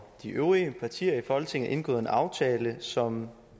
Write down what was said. de øvrige partier i folketinget indgået en aftale som